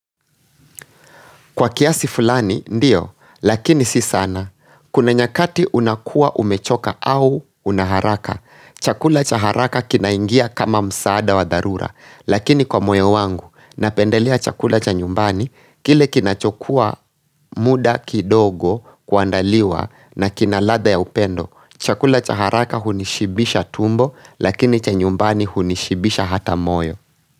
Kwa kiasi fulani, ndio, lakini si sana. Kuna nyakati unakuwa umechoka au unaharaka. Chakula cha haraka kinaingia kama msaada wa dharura, lakini kwa moyo wangu. Napendelea chakula cha nyumbani, kile kinachokuwa muda kidogo kuandaliwa na kina ladha ya upendo. Chakula cha haraka hunishibisha tumbo, lakini cha nyumbani hunishibisha hata moyo.